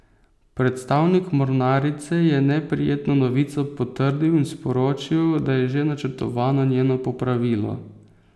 Predstavnik mornarice je neprijetno novico potrdil in sporočil, da je že načrtovano njeno popravilo.